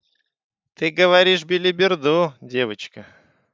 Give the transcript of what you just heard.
ты говоришь белиберду девочка